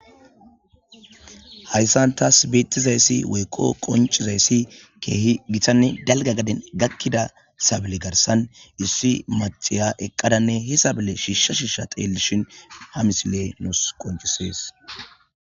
Hayssan tas beetizayssi woykko qoncizayssi keehi gitanne dalga gaden gakida sabile garsan issi macciya eqqadanne hi sabile shiishsha shiishsha xeelishin ha misiley nus qoncises.